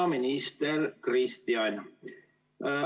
Hea minister Kristian!